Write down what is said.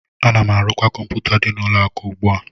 Ana m arụkwa kọmpụta dị n'ụlọ akụ ugbu a